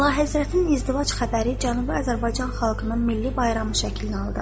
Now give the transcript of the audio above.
Əlahəzrətin izdivac xəbəri Cənubi Azərbaycan xalqının milli bayramı şəklini aldı.